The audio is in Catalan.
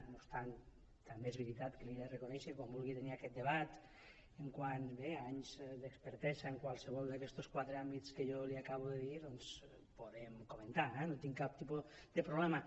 no obstant també és veritat que li ho he de reconèixer quan vulgui tenir aquest debat quant a anys d’expertesa en qualsevol d’aquests quatre àmbits que jo li acabo de dir doncs ho podem comentar eh no hi tinc cap tipus de problema